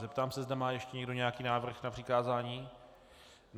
Zeptám se, zda má ještě někdo nějaký návrh na přikázání.